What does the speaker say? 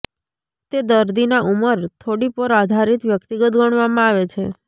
તે દર્દીના ઉંમર થોડી પર આધારિત વ્યક્તિગત ગણવામાં આવે છે